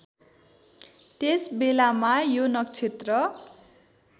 त्यसबेलामा यो नक्षत्र